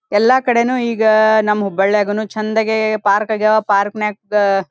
ಎಲ್ಲಾ ಕಡೆನೂ ಈಗಾ ನಮ್ಮ ಹುಬ್ಬಳ್ಳಿಯಾಗುನು ಚಂದಗೆ ಪಾರ್ಕ್ ಆಗ್ಯಾವ ಪಾರ್ಕ್ ನ್ಯಾಗ್ --